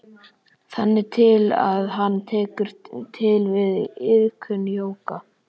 Þangað til að hann tekur til við iðkun jóga.